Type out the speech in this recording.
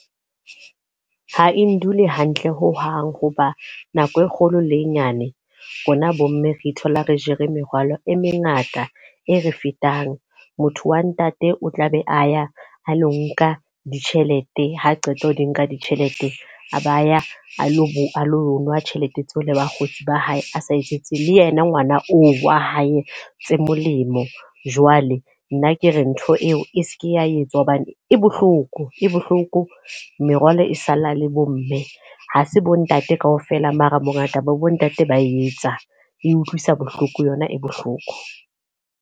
Ha e ndule hantle ho hang hoba nako e kgolo le e nyane, rona bo mme re thola re jere merwalo e mengata e re fetang. Motho wa ntate o tla be a ya a lo nka ditjhelete. Ha qeta ho di nka ditjhelete, a ba ya a lo a lo nwa tjhelete tseo le bakgotsi ba hae a sa etsetse le yena ngwana oo wa hae tse molemo. Jwale nna ke re ntho e eo e seke ya etswa hobane e bohloko, e bohloko. Merwalo e sala le bo mme. Ha se bo ntate ka ofela mara bo ngata ba bo ntate ba etsa. E utlwisa bohloko yona e bohloko.